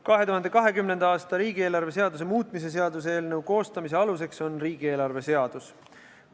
2020. aasta riigieelarve seaduse muutmise seaduse eelnõu koostamise aluseks on riigieelarve seadus.